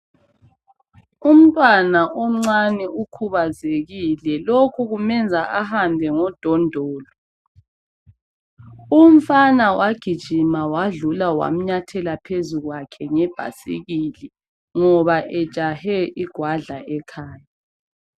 Umntwana omncane ukhubazekile lokhu kumenza ahambe ngodondolo. Umfana wagijima wadlula wamnyathela phezu kwakhe ngebhasikili ngoba ejahe igwadla ekhaya.